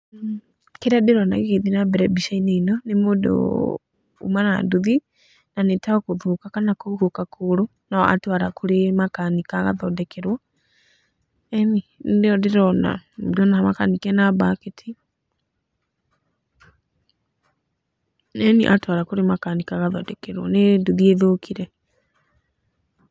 Kĩrĩa ndĩrona gĩgĩthiĩ na mbere mbica-inĩ ĩno nĩ mũndũ uma na nduthi na nĩ ta gũthũka kana kũhuhũka kũgũrũ na atwara kũrĩ makanika agathondekerwo, eni, nĩyo ndĩrona, ndĩrona makanika ena mbaketi, eni atwara kũrĩ makanika agathondekerwo, nĩ nduthi ĩthũkire.